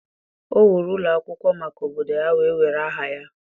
O wuru ụlọ akwụkwọ maka obodo ya, wee were aha ya.